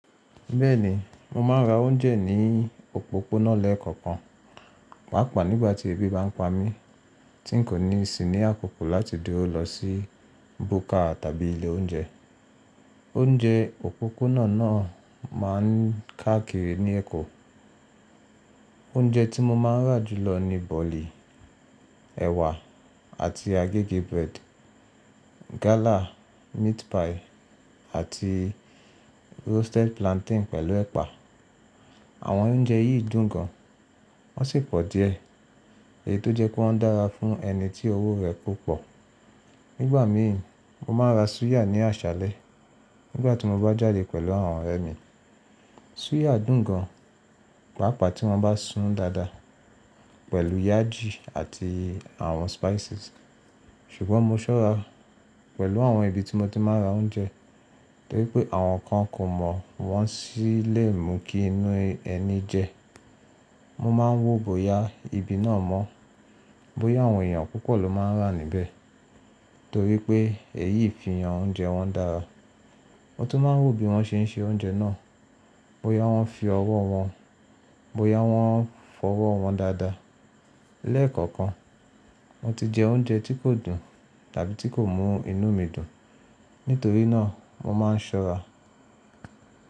Bẹ́ẹ̀ni, mo máa ń ra oúnjẹ ní òpópónà lẹ́ẹ̀kọ̀kan, pàápàá nígbà tí ebi bá ń pa mí tí n kò ní ìsìní àkokò láti dúró lọ sí búkà tàbí ilé oúnjẹ. Oúnjẹ òpópónà náà máa ń káàkiri ní Èkó. Oúnjẹ tí mo máa ń rà jùlọ ni bọ̀lí, ẹ̀wà àti agégé bread, gálà, meat pie àti roasted plantain pẹ̀lú ẹ̀pà. Àwọn oúnjẹ yìí dùn gan, wọ́n sì pọ̀ díẹ̀, èyí tó jẹ́ pé wọ́n dára fún ẹni tí owó rẹ̀ kọ̀ pọ̀. Nígbà mìí, mo máa ń ra súyà ní àṣàlẹ̀ nígbà tí mo bá jáde pẹ̀lú àwọn ọ̀rẹ́ mi. Súyà dùn gan, pàápàá tí wọ́n bá sùn dáadáa pẹ̀lú yájì àti àwọn spices. Sùgbọ́n mo ṣọ́rá pẹ̀lú àwọn ibi tí mo ti máa ń ra oúnjẹ, torí pé àwọn kan kò mọ̀ wọ́n sì lè mu kí inú ẹni jẹ. Mo máa ń wò bóyá ibi náà mọ́, bóyá àwọn èèyàn púpò ló máa ń rà níbẹ̀ torí pé èyí fìyaǹ oúnjẹ wọn dára. Mo tún máa ń wò bí wọ́n ṣe ń se oúnjẹ náà, bóyá wọ́n fi ọwọ́ wọn, bóyá wọ́n fọwọ́ wọn dáadáa. Lẹ́ẹ̀kọ̀kan, mo ti jẹ oúnjẹ tí kò dùn tàbí tí kò mú inú mi dùn, nítorí náà mo máa ń ṣọ́ra.